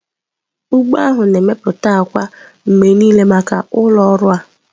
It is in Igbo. ugbo ahụ na-emepụta akwa mgbe niile maka ụlọ ọrụ a.